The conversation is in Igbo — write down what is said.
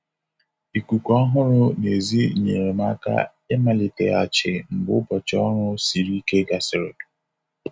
Ikuku ọhụrụ. n'èzí nyere m aka imaliteghachi mgbe ụbọchị ọrụ siri ike gasịrị.